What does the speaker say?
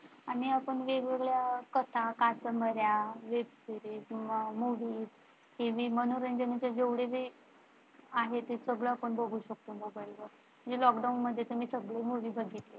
आणि आपण वेगवेगळ्या कथा कादंबऱ्या Web Series, Movie, तव वरच्या मनोरंजन च्या जेव्हढ्या आहे ते सगळं आपण बघू शकतो मोबाइल वर जे मी Lockdown मध्ये तर मी सगळं Movie बघितल्या.